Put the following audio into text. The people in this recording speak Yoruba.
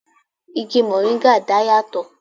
Igi moringa dá yà tò